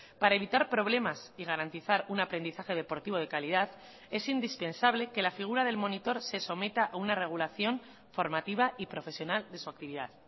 para evitar problemas y garantizar un aprendizaje deportivo de calidad es indispensable que la figura del monitor se someta a una regulación formativa y profesional de su actividad